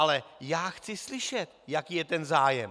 Ale já chci slyšet, jaký je ten zájem.